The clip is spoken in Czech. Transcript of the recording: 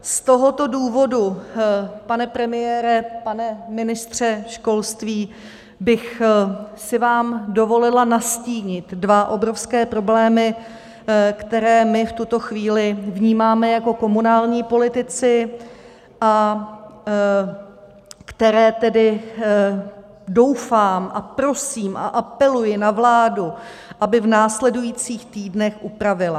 Z tohoto důvodu, pane premiére, pane ministře školství, bych si vám dovolila nastínit dva obrovské problémy, které my v tuto chvíli vnímáme jako komunální politici a které tedy, doufám a prosím a apeluji na vládu, aby v následujících týdnech upravila.